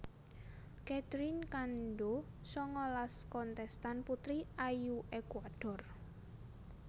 Catherine Cando sangalas kontèstan putri ayu Ékuador